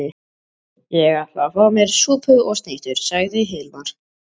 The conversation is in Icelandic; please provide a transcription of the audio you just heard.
Ég ætla að fá mér súpu og snittur, sagði Hilmar.